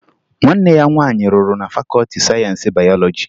Nwanne ya nwaanyị rụrụ na fakọọti sayensi bayọlọji